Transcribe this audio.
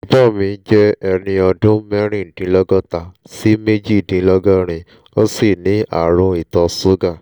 bàbá mi jẹ́ ẹni ọdún mẹ́rìndínlọ́gọ́ta sí méjìdínlọ́gọ́rin ó sì ní ààrùn ìtọ̀ ṣúgà